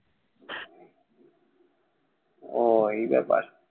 উহ এই ব্যাপার